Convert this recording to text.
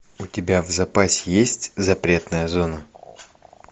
у тебя в запасе есть запретная зона